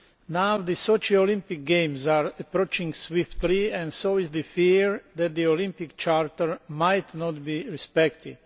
Now the Sochi Olympic Games are approaching swiftly and so is the fear that the Olympic Charter might not be respected.